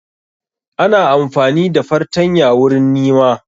Ana amfani da fartanya wurin nima